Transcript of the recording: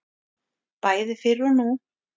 Bæði fyrr og nú.